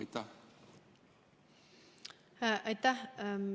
Aitäh!